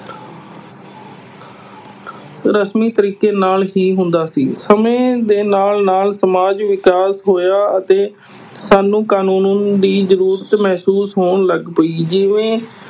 ਰਸਮੀ ਤਰੀਕੇ ਨਾਲ ਹੀ ਹੁੰਦਾ ਸੀ। ਸਮੇਂ ਦੇ ਨਾਲ ਨਾਲ ਸਮਾਜਿਕ ਵਿਕਾਸ ਹੋਇਆ ਅਤੇ ਸਾਨੂੰ ਕਾਨੂੰਨ ਦੀ ਜ਼ਰੂਰਤ ਮਹਿਸੂਸ ਹੋਣ ਲੱਗ ਪਈ ਜਿਵੇਂ